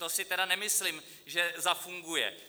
To si tedy nemyslím, že zafunguje.